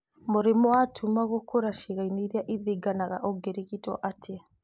Mũrimũ wa tuma gũkũra ciĩga-inĩ irĩa ithiginaga ũngĩrigitwo atĩa